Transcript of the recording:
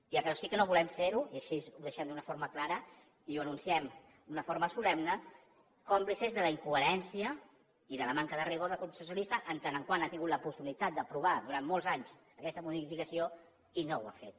i el que sí que no volem és ser i així ho deixem d’una forma clara i ho anunciem d’una forma solemne còmplices de la incoherència i de la manca de rigor del grup socialista en tant que ha tingut la possibilitat d’aprovar durant molts anys aquesta modificació i no ho ha fet